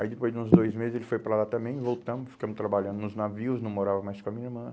Aí depois de uns dois meses ele foi para lá também, voltamos, ficamos trabalhando nos navios, não morava mais com a minha irmã.